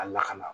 A lakana